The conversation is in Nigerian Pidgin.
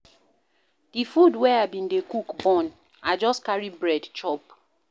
Di food wey I bin dey cook burn, I just carry bread chop.